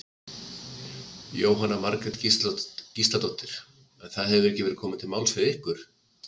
Jóhanna Margrét Gísladóttir: En það hefur ekki verið komið til máls við ykkur?